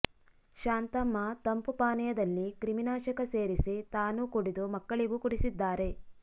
ಶಾಂತಮ್ಮ ತಂಪು ಪಾನೀಯದಲ್ಲಿ ಕ್ರಿಮಿನಾಶಕ ಸೇರಿಸಿ ತಾನೂ ಕುಡಿದು ಮಕ್ಕಳಿಗೂ ಕುಡಿಸಿದ್ದಾರೆ